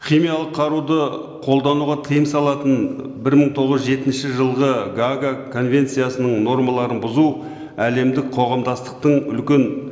химиялық қаруды қолдануға тыйым салатын бір мың тоғыз жүз жетінші жылғы гаага конвенциясының нормаларын бұзу әлемдік қоғамдастықтың үлкен